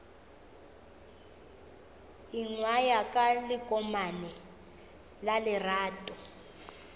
ingwaya ka lekomane la lerato